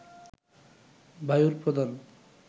বায়ুর প্রধান